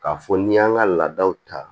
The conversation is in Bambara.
K'a fɔ n'i y'an ka laadaw ta